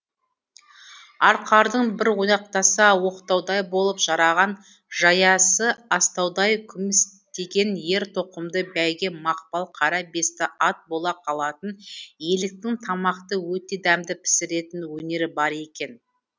арқардың бір ойнақтаса оқтаудай болып жараған жаясы астаудай күмістеген ер тоқымды бәйге мақпал қара бесті ат бола қалатын еліктің тамақты өте дәмді пісіретін өнері бар екен